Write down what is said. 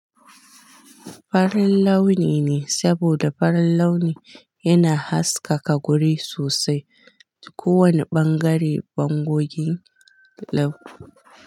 Farin launi ne, saboda farin launi yana haskaka guri sosai. Duk ko wane ɓangare bangoge launi.